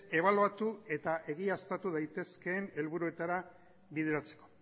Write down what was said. ebaluatu eta egiaztatu daitezkeen helburuetara bideratzeko